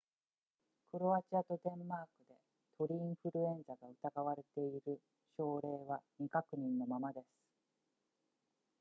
クロアチアとデンマークで鳥インフルエンザが疑われている症例は未確認のままです